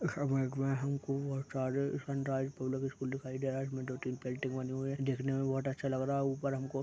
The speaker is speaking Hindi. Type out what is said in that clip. हमको बहुत सारे सनराईज पब्लिक स्कूल दिखाई दे रहा है इसमें दो -तीन पेंटिंग बनी हुई है देखने में बहुत अच्छा लग रहा है ऊपर हमको--